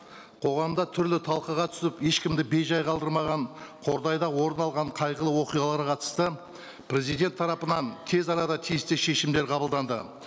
қоғамда түрлі талқыға түсіп ешкімді бейжай қалдырмаған қордайда орын алған қайғылы оқиғаларға қатысты президент тарапынан тез арада тез тез шешімдер қабылданды